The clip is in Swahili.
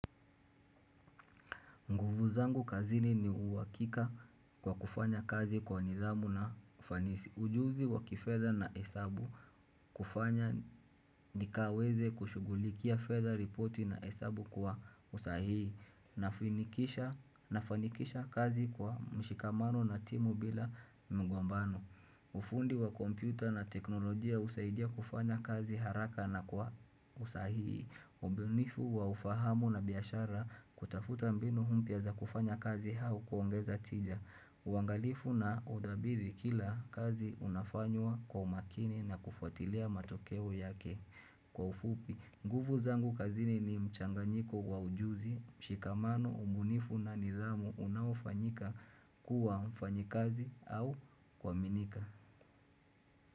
Nguvu zangu kazini ni uhakika kwa kufanya kazi kwa nidhamu na ufanisi ujuzi wa kifedha na hesabu kufanya nikaweze kushughulikia fedha ripoti na hesabu kwa usahihi nafanikisha kazi kwa mshikamano na timu bila mgombano. Ufundi wa kompyuta na teknolojia husaidia kufanya kazi haraka na kwa usahihi, ubunifu wa ufahamu na biashara kutafuta mbinu mpya za kufanya kazi au kuongeza tija, uangalifu na udhabiti kila kazi unafanywa kwa umakini na kufuatilia matokeo yake. Kwa ufupi, nguvu zangu kazini ni mchanganyiko wa ujuzi, mshikamano, ubunifu na nidhamu unaofanyika kuwa mfanyikazi au kuaminika.